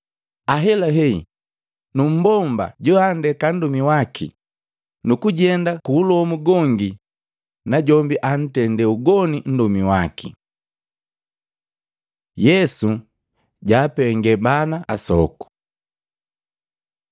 Ahelahe nu mbomba joandeka nndomi waki nukujenda kuulomu gongi najombi antendee ugoni nndomi waki.” Yesu jaapengee bana asoku Matei 19:13; Luka 18:15-17